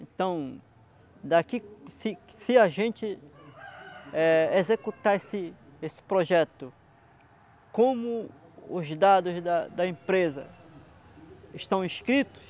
Então, daqui se se a gente executar esse esse projeto, como os dados da da empresa estão escritos,